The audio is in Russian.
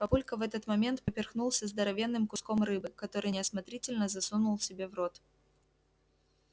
папулька в этот момент поперхнулся здоровенным куском рыбы который неосмотрительно засунул себе в рот